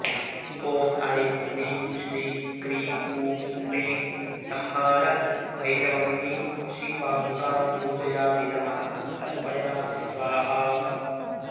ॐ ऐं ह्रीं श्रीं क्रीं हूं ह्रीं संहार भैरवमयी श्रीपादुकां पूजयामि नमः तर्पयामि स्वाहा